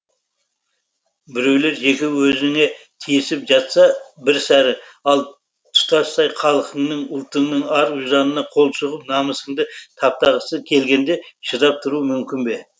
біреулер жеке өзіңе тиісіп жатса бір сәрі ал тұтастай халқыңның ұлтыңның ар ұжданына қол сұғып намысыңды таптағысы келгенде шыдап тұру мүмкін бе